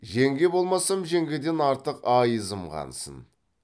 жеңге болмасам жеңгеден артық айызым қансын